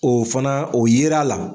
O fana o yera la.